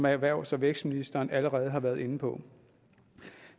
erhvervs og vækstministeren allerede har været inde på